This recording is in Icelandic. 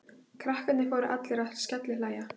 Krakkarnir fóru allir að skellihlæja.